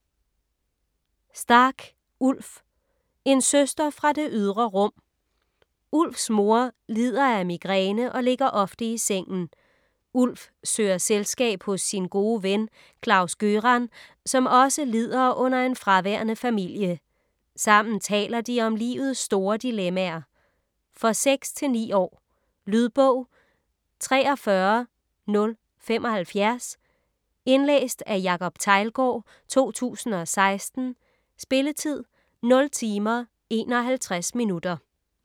Stark, Ulf: En søster fra det ydre rum Ulfs mor lider af migræne og ligger ofte i sengen. Ulf søger selskab hos sin gode ven Klaus-Gøran, som også lider under en fraværende familie. Sammen taler de om livets store dilemmaer. For 6-9 år. Lydbog 43075 Indlæst af Jacob Teglgaard, 2016. Spilletid: 0 timer, 51 minutter.